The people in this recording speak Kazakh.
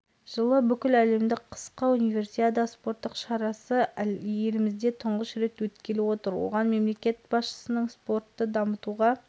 универсиада алауын жағу салтанаты талдықорғандағы жоғары және арнайы орта білім беру мекемелерінің студенттерінің қатысуымен өткен шерумен басталды облыс әкімі амандық баталов